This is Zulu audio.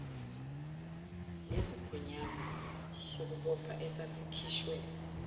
nesigunyaso sokubopha esasikhishwe